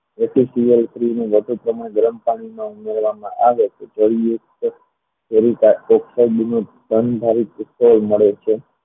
વધુ પ્રમાણ ગરમ પાણીમાં કરવામાં આવે તો સંયુક્ત ધનધારી વિદ્યુત મળે છે